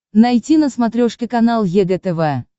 найти на смотрешке канал егэ тв